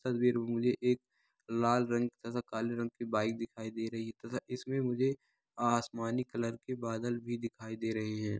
तस्वीर में मुझे एक लाल रंग तथा काले रंग की बाइक दिखाई दे रही है तथा इसमें मुझे आसमानी कलर के बादल भी दिखाई दे रहे हैं।